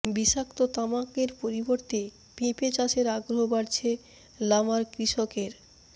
বিষাক্ত তামাকের পরিবর্তে পেঁপে চাষে আগ্রহ বাড়ছে লামার কৃষকের